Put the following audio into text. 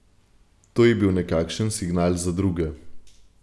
To je bil nekakšen signal za druge.